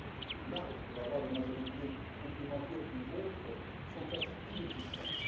Les marges pour avoir des majorités complémentaires ou autres, sont quasi inexistantes.